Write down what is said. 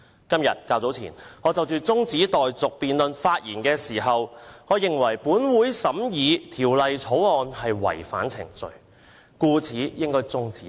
今天較早時，我就中止待續議案發言時指出，我認為本會審議《條例草案》違反程序，故此應該中止有關審議。